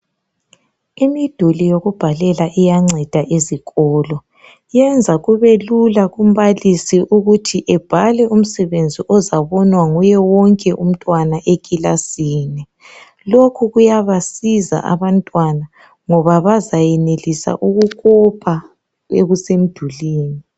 Imiduli yokubhalela iyanceda ezikolo. Iyenza kube lula kumbalisi ukuthi ebhale umsebenzi ozabonwa nguye wonke umtwana ekilasini. Lokhu kuyabasiza abantwana ngoba bazayenelisa ukukopa okusemdulini.